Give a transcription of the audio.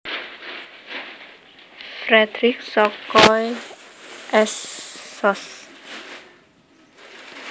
Fredrik Sokoy S Sos